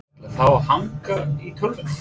Ætla þau að hanga í tölvunni?